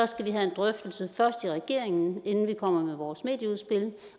skal vi have en drøftelse først i regeringen inden vi kommer med vores medieudspil